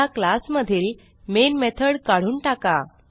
ह्या क्लास मधील main method काढून टाका